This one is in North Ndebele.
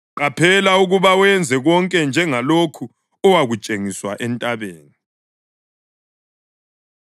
Qaphela ukuba wenze konke njengalokhu owakutshengiswa entabeni.”